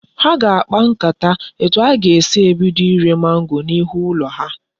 Ha ga akpa nkata etu ha ga esi ebido ire mango na ihu ulo ha